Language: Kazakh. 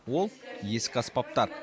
ол ескі аспаптар